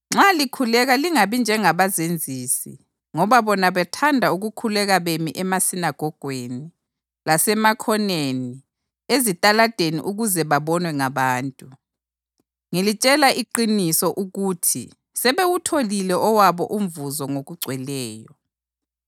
“Nxa likhuleka lingabi njengabazenzisi ngoba bona bathanda ukukhuleka bemi emasinagogweni lasemakhoneni ezitalada ukuze babonwe ngabantu. Ngilitshela iqiniso ukuthi sebewutholile owabo umvuzo ngokugcweleyo.